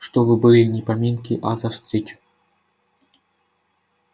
чтобы были не поминки а за встречу